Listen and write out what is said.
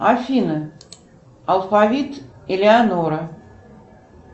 афина алфавит элеонора